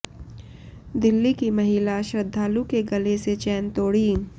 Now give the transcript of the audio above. दिल्ली की महिला श्रद्धालु के गले से चैन तोड़ी